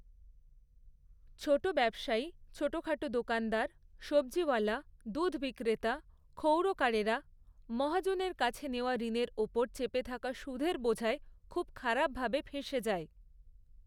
ছোট ব্যবসায়ী, ছোটোখাটো দোকানদার, সব্জিওয়ালা, দুধ বিক্রেতা, ক্ষৌরকারেরা মহাজনের কাছে নেওয়া ঋণের ওপর চেপে থাকা সুদের বোঝায় খুব খারাপভাবে ফেঁসে যায়।